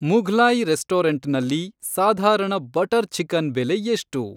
ಮುಘ್ಲಾಯಿ ರೆಸ್ಟೊರೆಂಟ್‌ನಲ್ಲಿ ಸಾಧಾರಣ butter chicken ಬೆಲೆ ಎಷ್ಟು